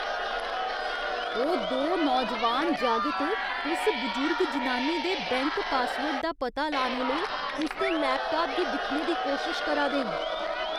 ओह् दो नौजोआन जागत उस बजुर्ग जनानी दे बैंक पासवर्ड दा पता लाने लेई उसदे लैपटाप गी दिक्खने दी कोशश करा दे न।